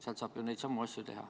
Sealt saab ju neid samu asju teha.